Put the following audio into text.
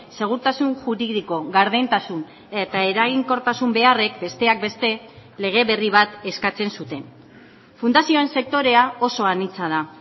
segurtasun juridiko gardentasun eta eraginkortasun beharrek besteak beste lege berri bat eskatzen zuten fundazioen sektorea oso anitza da